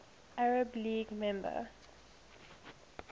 arab league member